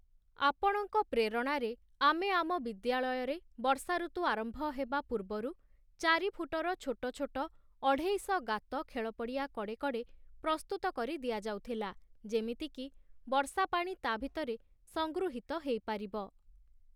ଆପଣଙ୍କ ପ୍ରେରଣାରେ ଆମେ ଆମ ବିଦ୍ୟାଳୟରେ ବର୍ଷାଋତୁ ଆରମ୍ଭ ହେବା ପୂର୍ବରୁ ଚାରି ଫୁଟର ଛୋଟ ଛୋଟ ଅଢ଼େଇଶ ଗାତ ଖେଳପଡ଼ିଆ କଡ଼େ କଡ଼େ ପ୍ରସ୍ତୁତ କରି ଦିଆଯାଉଥିଲା ଯେମିତିକି ବର୍ଷା ପାଣି ତା ଭିତରେ ସଂଗୃହୀତ ହେଇପାରିବ ।